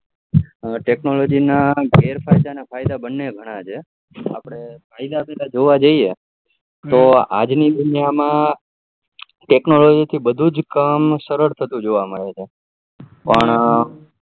technology ના ગેરrફાયદા અને ફાયદા બને ઘણા છે આપડે ફાયદા જોવા જઈએ તો આજની દુનિયા માં તો technology થી બધું જ કામ સરળ થતું જોવા મળે છે પણ